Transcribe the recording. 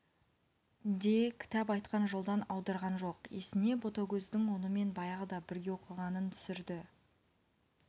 де кітап айтқан жолдан аудырған жоқ есіне ботагөздің онымен баяғыда бірге оқығанын түсірді